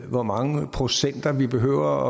hvor mange procenter vi behøver